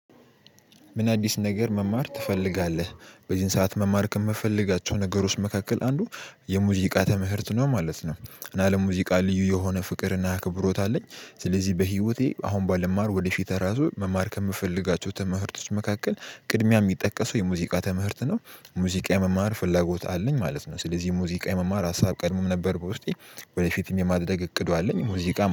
ምን አዲስ ነገር መማር ትፈልጋለህ? በዚህን ሰዓት መማር ከምፈልጋቸው ነገሮች መካከል አንዱ የሙዚቃ ትምህርት ነው ማለት ነው። እና ለሙዚቃ ልዩ የሆነ ፍቅር እና ክብሮት አለኝ። ስለዚህ በህይወቴ አሁን ባልማር ወደ ፊት እራሱ መማር ከምፈልጋቸው ትምህርቶች መካከል ቅድሚያ የሚጠቀሰው የሙዚቃ ትምህርት ነው። ሙዚቃ የመማር ፍላጎት አለኝ ማለት ነው። ስለዚህ ሙዚቃ የመማር ሀሳብ ቀድሞም ነበር ውስጤ። ወደፊትም የማድረግ እቅዱ አለኝ ሙዚቃ